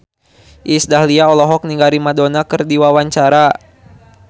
Iis Dahlia olohok ningali Madonna keur diwawancara